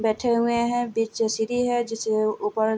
बैठे हुए है बीच से सीढ़ी है जिसके ऊपर --